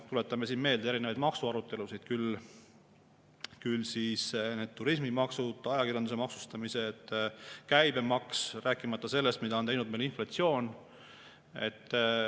Tuletame meelde erinevaid maksuarutelusid: küll turismimaksud, ajakirjanduse maksustamised, käibemaks, rääkimata sellest, mida on teinud meil inflatsioon.